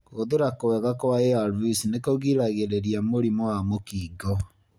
Kũhũthĩra kwega kwa ARVs nĩkũgiragĩrĩria mũrimũ wa mũkingo.